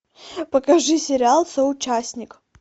покажи сериал соучастник